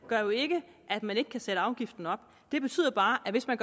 gør jo ikke at man ikke kan sætte afgiften op det betyder bare at hvis man